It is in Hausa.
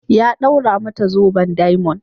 Ya d'aura mata zoben diamond.